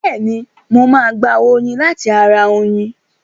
Bẹ́ẹ̀ni, mo máa gba oyin láti ara oyin.